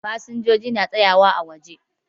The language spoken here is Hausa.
Fasinjoji na tsayawa ã wajen